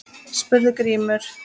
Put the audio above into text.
spurði Grímur.